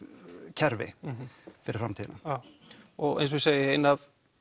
kerfi fyrir framtíðina já og eins og ég segi ein af